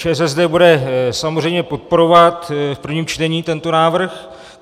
ČSSD bude samozřejmě podporovat v prvním čtení tento návrh.